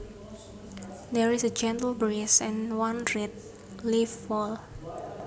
There is a gentle breeze and one red leaf falls